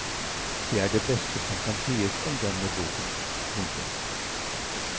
Det er det beste som kan sies om denne boken. punktum